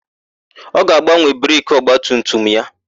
Ọ ga-agbanwe breki ọgbatumtum ya.